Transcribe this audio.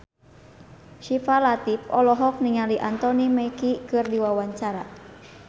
Syifa Latief olohok ningali Anthony Mackie keur diwawancara